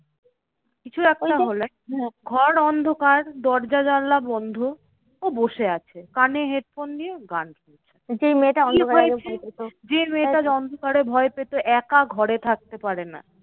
কিছু একটা হলে ঘর অন্ধকার দরজা জানালা বন্ধ ও বসে আছে। কানে headphone নিয়ে গান শুনছে। যে মেয়েটা অন্ধকারে ভয় পেতো একা ঘরে থাকতে পারে না।